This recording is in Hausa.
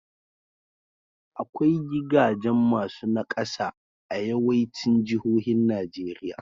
Akwai gigajen masu naƙasa a yawaicin jihohin Najeriya.